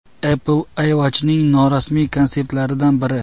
Apple iWatch’ning norasmiy konseptlaridan biri.